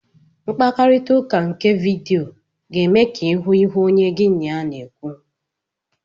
Mkparịta ụka nke vidiyo ga-eme ka ịhụ onye gị na ya na-ekwu.